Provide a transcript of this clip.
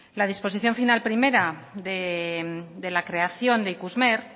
la disposición final primera de la creación de ikusmer